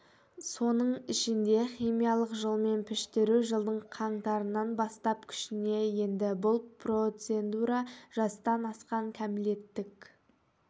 соның ішінде химиялық жолмен піштіру жылдың қаңтарынан бастап күшіне енді бұл процедура жастан асқан кәмелеттік